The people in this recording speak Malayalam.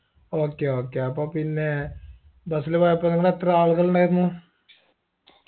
okay okay അപ്പൊ പിന്നെ bus ല് പോയപ്പോ നിങ്ങൾ എത്ര ആളുകൾ ഉണ്ടായിരുന്നു